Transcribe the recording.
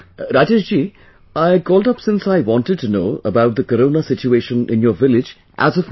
Rajesh ji, I called up since I wanted to know about the Corona situation in your village, as of now